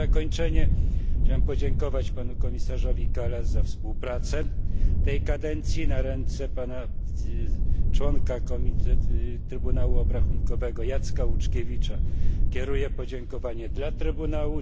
Na zakończenie chciałem podziękować panu komisarzowi Kallasowi za współpracę w tej kadencji. Na ręce członka Trybunału Obrachunkowego Jacka Łuczkiewicza kieruję podziękowania dla Trybunału.